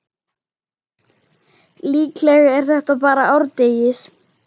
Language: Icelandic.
Líklega er þetta bara árdegis